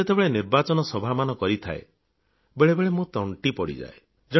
ମୁଁ ଯେତେବେଳେ ନିର୍ବାଚନୀ ସଭାମାନ କରିଥାଏ ବେଳେବେଳେ ମୋ ଗଳାତଣ୍ଟି ପଡ଼ିଯାଏ